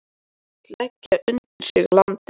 Hann vill leggja undir sig landið.